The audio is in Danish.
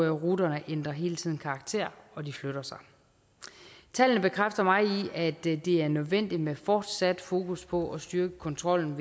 ruterne ændrer hele tiden karakter og de flytter sig tallene bekræfter mig i at det er nødvendigt med et fortsat fokus på at styrke kontrollen